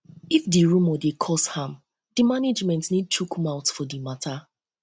if di rumour dey um cause harm di management need to chook mouth for di um matter